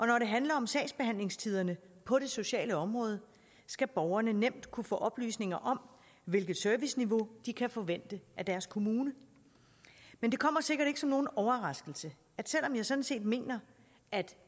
når det handler om sagsbehandlingstiderne på det sociale område skal borgerne nemt kunne få oplysninger om hvilket serviceniveau de kan forvente af deres kommune men det kommer sikkert ikke som nogen overraskelse at selv om jeg sådan set mener at